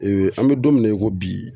an bɛ don min na i ko bi.